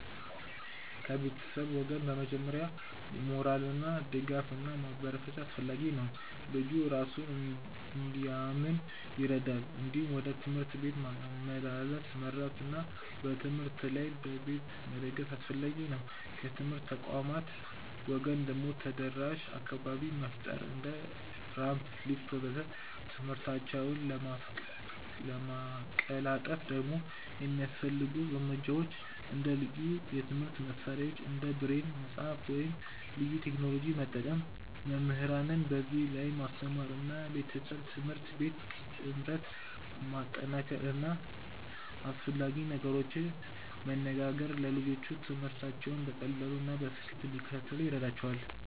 ከቤተሰብ ወገን በመጀመሪያ ሞራል ድጋፍ እና ማበረታቻ አስፈላጊ ነው፣ ልጁ እራሱን እንዲያምን ይረዳል። እንዲሁም ወደ ትምህርት ቤት ማመላለስ መርዳት እና በትምህርት ላይ በቤት መደገፍ አስፈላጊ ነው። ከትምህርት ተቋማት ወገን ደግሞ ተደራሽ አካባቢ መፍጠር እንደ ራምፕ፣ ሊፍት ወዘተ..።ትምህርታቸውን ለማቀላጠፍ ደግሞ የሚያስፈልጉ እርምጃዎች እንደ ልዩ የትምህርት መሳሪያዎች እንደ ብሬል መጽሐፍ ወይም ልዩ ቴክኖሎጂ መጠቀም፣ መምህራንን በዚህ ላይ ማስተማር እና ቤተሰብ-ትምህርት ቤት ጥምረት ማጠናከር እና አስፈላጊ ነገሮችን መነጋገር ለልጆቹ ትምህርታቸውን በቀላሉ እና በስኬት እንዲከታተሉ ይረዳቸዋል።